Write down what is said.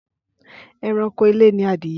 Ẹranko ilé ni adìyẹ